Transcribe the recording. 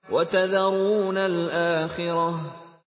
وَتَذَرُونَ الْآخِرَةَ